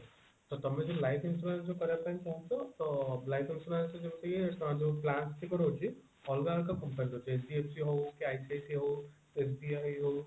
ତ ତମେ ଯଦି life insurance କରିବା ପାଇଁ ଚାହୁଁଚ ତ life insurance ରେ ଯେମତି କି ଯୋଉ plans ଗୁଡିକ ରହୁଛି ଅଲଗା ଅଲଗା company ରହୁଛି HDFC ହଉ କି ICICI ହଉ SBI ହଉ